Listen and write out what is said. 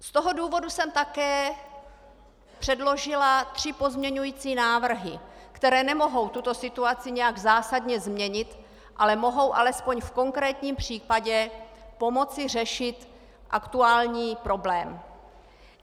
Z toho důvodu jsem také předložila tři pozměňující návrhy, které nemohou tuto situaci nějak zásadně změnit, ale mohou alespoň v konkrétním případě pomoci řešit aktuální problém.